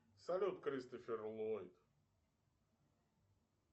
салют кристофер ллойд